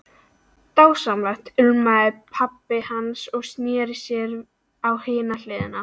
Dásamlegt umlaði pabbi hans og sneri sér á hina hliðina.